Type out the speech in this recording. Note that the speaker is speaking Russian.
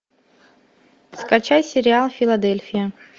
скачай сериал филадельфия